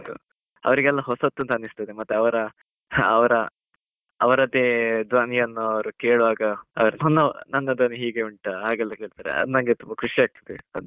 ಅವರಿಗೆಲ್ಲ ಹೊಸತ್ತು ಅಂತ ಅನ್ನಿಸ್ತದೆ, ಮತ್ತೆ ಅವರ ಅವರ ಅವರದ್ದೇ ದ್ವನಿಯನ್ನು ಅವರು ಕೇಳುವಾಗ, ನನ್ನ ಧ್ವನಿ ಹೀಗೆ ಉಂಟಾ ಅಂತ ಕೇಳ್ತಾರೆ? ನಂಗೆ ತುಂಬಾ ಖುಷಿಯಾಗ್ತದೆ.